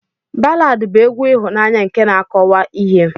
Ballad bu egwu ihụnanya nke na akọwa ihe.